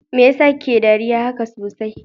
Mai yasa kike dariya haka sosai?